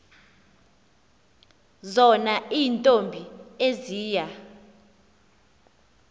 zona iintombi eziya